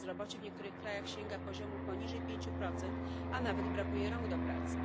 Bezrobocie w niektórych krajach sięga poziomu poniżej pięciu procent, a nawet brakuje rąk do pracy.